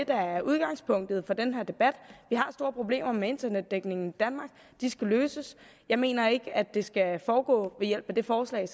der er udgangspunktet for den her debat vi har store problemer med internetdækningen i danmark de skal løses jeg mener ikke at det skal foregå ved hjælp af det forslag